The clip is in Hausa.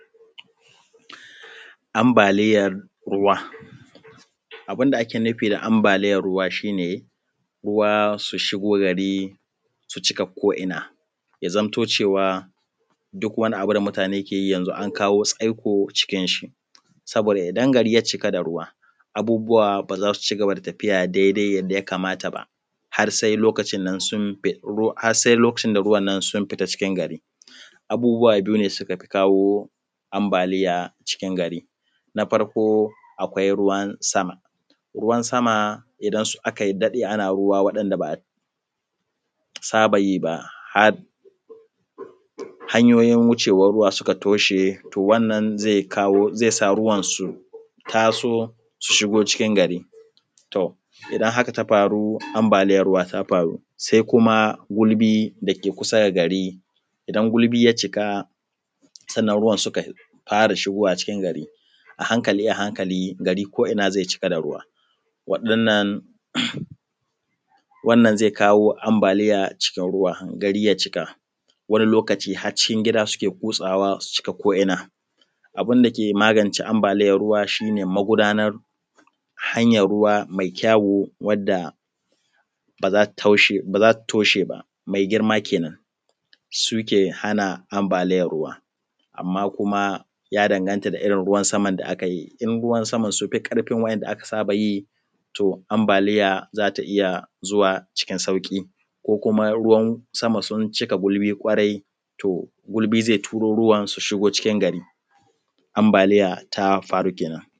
Ambaliyan ruwa. Abun da ake nufi da ambaliyan ruwa shi ne ruwa su shigo gari su cika ko ina, ya zamto cewa duk wani abu da mutane ke yi an kawo tsaikon shi saboda idan gari ya cika da ruwa abubbuwa ba za su cigaba da tafiya daidai yadda ya kamata ba har se lokacin nan sun har se lokacin da ruwan nan ya fita cikin gari. Abubbuwa biyu ne suke kawo ambaliya cikin gari, na farko akwai ruwan sama, ruwan sama idan aka daɗe ana musu ruwan waɗanda ba a saba yi ba har hanyoyin wucewan ruwa suka toshe to wannan ze kawo ze sa ruwan su taso su shigo cikin gari. To, idan haka ta faru to ambaliyan ruwa ta faru se kuma gurbi kusa da gari idan gulbi ya cika sannan ruwan suka fara shigowa cikin gari a hankali a hankali, garin ko na ze cika da ruwa waɗannan wannan ze kawo ambaliya cikin ruwa gari ya cika wani lokaci har cikin gida suke kutsawa su cika ko’ina. Abun dake magance ambaliyan ruwa shi ne magudanar yanayin ruwa mai kyau wadda ba za ta toshe ba mai girma. Kenan, suke hana ambaliyan ruwa amma kuma ya danganta da kalan ruwan sama da aka yi, in ruwa sama ya fi ƙarfin wa’yanda aka saba yi to ambliya za ta iya zuwa cikin da sauƙi ko kuma ruwan sama sun cika gulbi to gulbin ze turo ruwan sama cikin gari, ammabaliya ta faru kenan.